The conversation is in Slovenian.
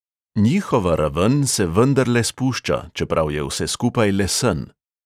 Njihova raven se vendarle spušča, čeprav je vse skupaj le sen.